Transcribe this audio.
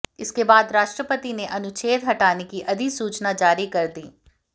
इसके बाद राष्ट्रपति ने अनुच्छेद हटाने की अधिसूचना जारी कर दी